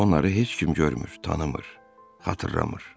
Onları heç kim görmür, tanımır, xatırlamır.